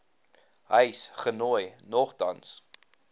huis genooi nogtans